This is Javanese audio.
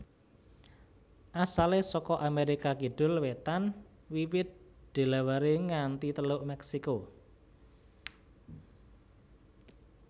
Asalé saka Amérika kidul wétan wiwit Delaware nganti Teluk Meksiko